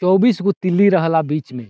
चौबीस गो तीली रह ला बीच मे।